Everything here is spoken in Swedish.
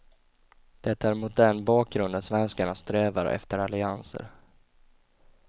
Det är mot den bakgrunden svenskarna strävar efter allianser.